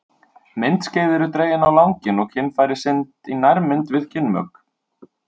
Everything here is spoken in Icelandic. Myndskeið eru dregin á langinn og kynfæri sýnd í nærmynd við kynmök.